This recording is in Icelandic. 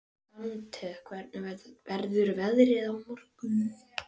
Dante, hvernig verður veðrið á morgun?